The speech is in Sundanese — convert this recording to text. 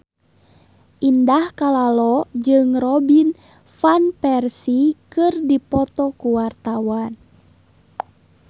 Indah Kalalo jeung Robin Van Persie keur dipoto ku wartawan